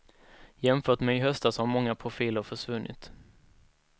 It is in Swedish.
Jämfört med i höstas har många profiler försvunnit.